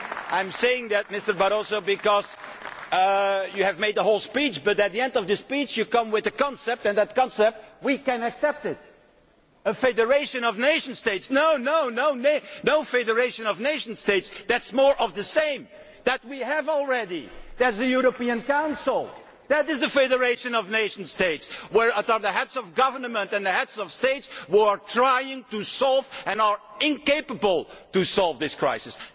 I am saying that, Mr Barroso, because you have made a whole speech, but at the end of the speech you come up with a concept and that concept we cannot accept a federation of nation states. No, no federation of nation states, that is more of the same, we have that already that is the European Council, which is a federation of nation states where the Heads of Government and the Heads of State were trying to solve and are incapable of solving this crisis.